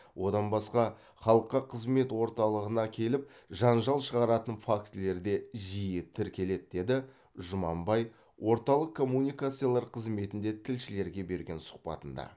одан басқа халыққа қызмет орталығына келіп жанжал шығаратын фактілер де жиі тіркеледі деді жұманбай орталық коммуникациялар қызметінде тілшілерге берген сұхбатында